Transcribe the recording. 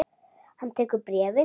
Hann tekur bréfið.